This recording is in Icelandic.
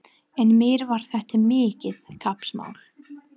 En mér var þetta mikið kappsmál.